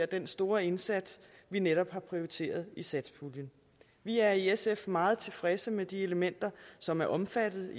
den store indsats vi netop har prioriteret i satspuljen vi er i sf meget tilfredse med de elementer som er omfattet